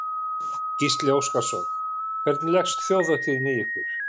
Gísli Óskarsson: Hvernig leggst Þjóðhátíðin í ykkur?